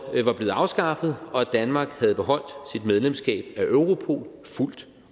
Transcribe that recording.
var blevet afskaffet og at danmark havde beholdt sit medlemskab af europol fuldt